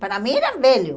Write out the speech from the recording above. Para mim, eram velhos.